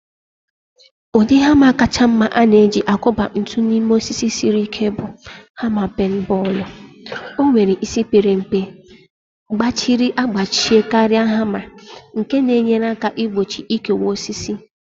Ụdị hama kacha mma a na-eji akwọba ntu n'ime osisi siri ike bụ hama peen bọọlụ. O nwere isi pere mpe, gbachiri agbachie karịa hama, nke na-enyere aka igbochi ikewa osisi.